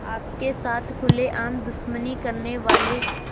आपके साथ खुलेआम दुश्मनी करने वाले